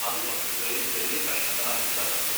അത് വസ്തുക്കളെ ചെറിയ കഷ്ണങ്ങളാക്കി തകർക്കും.